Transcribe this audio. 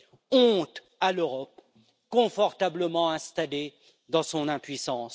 Honte à l'Europe, confortablement installée dans son impuissance!